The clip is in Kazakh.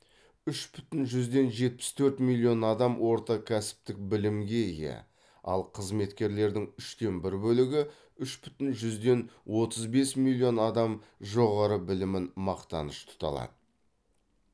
үш бүтін жүзден жетпіс төрт миллион адам орта кәсіптік білімге ие ал қызметкерлердің үштен бір бөлігі үш бүтін жүзден отыз бес миллион адам жоғары білімін мақтаныш тұта алады